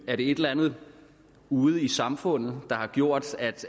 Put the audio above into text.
er det et eller andet ude i samfundet der har gjort at